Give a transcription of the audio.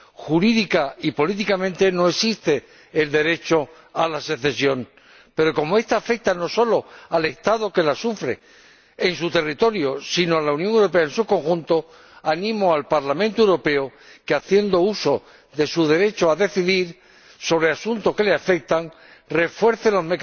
Jurídica y políticamente no existe el derecho a la secesión, pero como esta afecta no solo al Estado que la sufre en su territorio, sino a la Unión Europea en su conjunto, animo al Parlamento Europeo a que, haciendo uso de su derecho a decidir sobre asuntos que le afectan, refuerce los